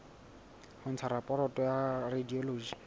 ho ntsha raporoto ya radiology